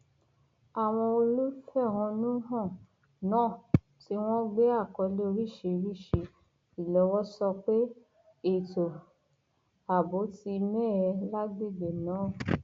àwọn olùfẹhónú hàn náà tí wọn gbé àkọlé oríṣiríṣi ìlọwọ sọ pé ètò ààbò ti mẹhẹ lágbègbè náà